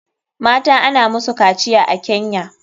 Mata ana musu kaciya a kenya